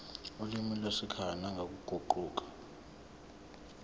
olimini lwasekhaya nangokuguquka